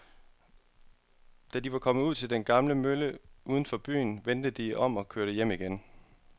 Da de var kommet ud til den gamle mølle uden for byen, vendte de om og kørte hjem igen.